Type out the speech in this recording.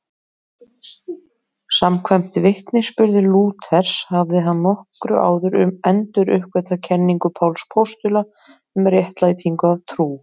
Samkvæmt vitnisburði Lúthers hafði hann nokkru áður enduruppgötvað kenningu Páls postula um réttlætingu af trú.